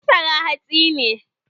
Masara hatsi ne